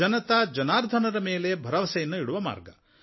ಜನತಾ ಜನಾರ್ದನರ ಮೇಲೆ ಭರವಸೆಯನ್ನು ಇಡುವ ಮಾರ್ಗ